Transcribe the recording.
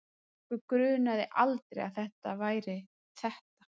Okkur grunaði aldrei að það væri ÞETTA!